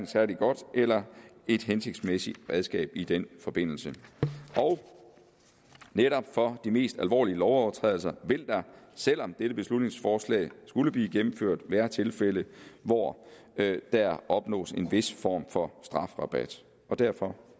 særlig godt eller hensigtsmæssigt redskab i den forbindelse netop for de mest alvorlige lovovertrædelser vil der selv om dette beslutningsforslag skulle blive gennemført være tilfælde hvor der opnås en vis form for strafrabat derfor